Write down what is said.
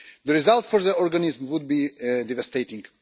The result for the organism would be devastating.